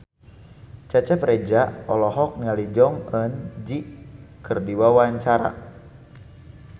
Cecep Reza olohok ningali Jong Eun Ji keur diwawancara